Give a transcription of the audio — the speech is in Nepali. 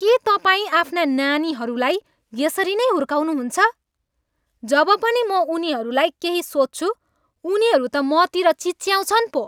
के तपाईँ आफ्ना नानीहरूलाई यसरी नै हुर्काउनुहुन्छ? जब पनि म उनीहरूलाई केही सोध्छु उनीहरू त मतिर चिच्याउँछन् पो।